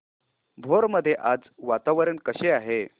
भोर मध्ये आज वातावरण कसे आहे